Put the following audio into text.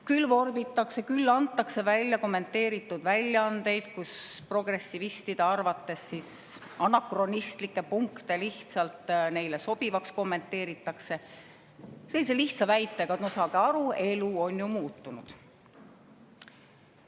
Küll vorbitakse ja antakse välja kommenteeritud väljaandeid, kus progressivistide arvates anakronistlikke punkte lihtsalt neile sobivaks kommenteeritakse sellise lihtsa väitega, et no saage aru, elu on ju muutunud.